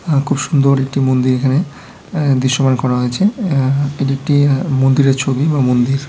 আ--খুব সুন্দর একটি মন্দির এখানে দৃশ্যমান করা হয়েছে এএ এটিএকটি মন্দিরের ছবি বা মন্দির ।